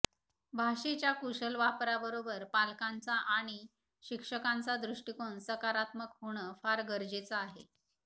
भाषेच्या कुशल वापराबरोबर पालकांचा आणि शिक्षकांचा दृष्टिकोन सकारात्मक होणं फार गरजेचं आहे